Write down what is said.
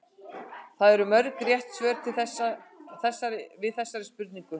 Hvað eru mörg rétt svör til við þessari spurningu?